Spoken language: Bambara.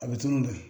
A bɛ tunun de